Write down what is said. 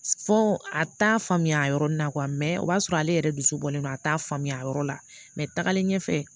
Fɔ a t'a faamuya a yɔrɔnin na o b'a sɔrɔ ale yɛrɛ dusu bɔlen don a t'a faamuya a yɔrɔ la tagalen ɲɛfɛ